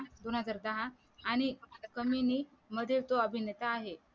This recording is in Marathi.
दोनहजार दहा आणि कमिणी मधे तो अभिनेता आहे